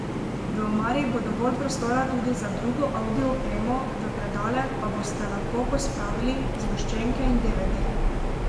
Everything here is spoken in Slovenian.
V omari bo dovolj prostora tudi za drugo avdio opremo, v predale pa boste lahko pospravili zgoščenke in devedeje.